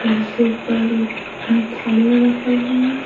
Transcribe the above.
कुर्सी पर रखल है।